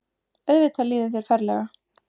Auðvitað líður þér ferlega.